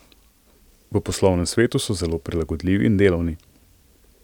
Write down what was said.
V poslovnem svetu so zelo prilagodljivi in delavni.